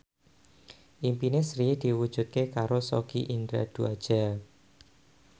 impine Sri diwujudke karo Sogi Indra Duaja